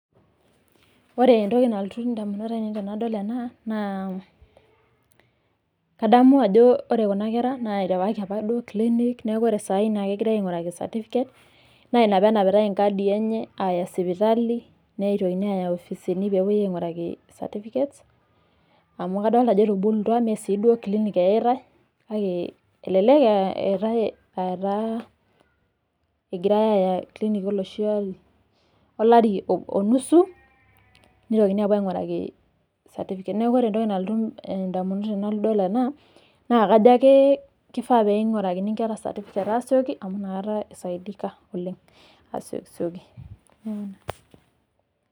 Ore entoki nalotu edamunot ainei tenadol ena naa ore Kuna kera nidapa apa clinic neeku ore tanakata kegirai ainguraki certificate naa ena pee enapitai nkadi enye Aya sipitali nitoki ayau erisiti enye pee epuoi ainguraki certificates amu kadolita Ajo etubulutua mee sii duo clinic eyaitai kake elelek etae egira Aya olari oo nusu mitokini apuo ainguraki certificate neeku ore entoki nalotu ndamunot tenadol ena naa kajo kifaa naing'urakini Nkera certificates asikio amu enakata asaidika asiokisioki oleng